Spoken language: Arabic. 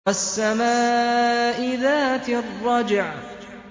وَالسَّمَاءِ ذَاتِ الرَّجْعِ